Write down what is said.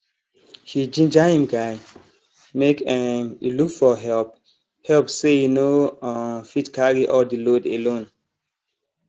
he ginger him guy make um e look for help help say e no um fit carry all the load alone